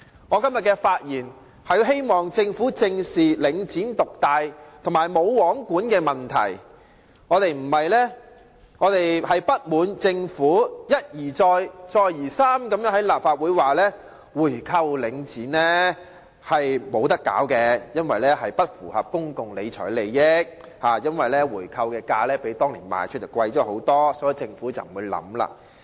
我今天發言，是希望政府正視領展獨大和"無皇管"的問題，我們不滿政府一而再、再而三地在立法會上表示無法購回領展，指出這樣並不符合公共理財原則，因為回購價會較當年的賣出價高很多，所以政府不會考慮。